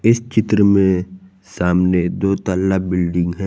इस चित्र में सामने दो तल्ला बिल्डिंग है।